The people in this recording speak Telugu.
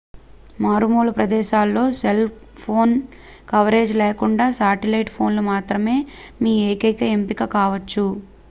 మారుమూల ప్రదేశాల్లో సెల్ ఫోన్ కవరేజీ లేకుండా శాటిలైట్ ఫోన్ మాత్రమే మీ ఏకైక ఎంపిక కావొచ్చు